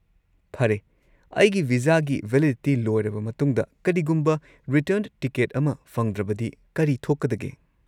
ꯐꯔꯦ, ꯑꯩꯒꯤ ꯚꯤꯖꯥꯒꯤ ꯚꯦꯂꯤꯗꯤꯇꯤ ꯂꯣꯏꯔꯕ ꯃꯇꯨꯡꯗ ꯀꯔꯤꯒꯨꯝꯕ ꯔꯤꯇꯔꯟ ꯇꯤꯀꯦꯠ ꯑꯃ ꯐꯪꯗ꯭ꯔꯕꯗꯤ ꯀꯔꯤ ꯊꯣꯛꯀꯗꯒꯦ?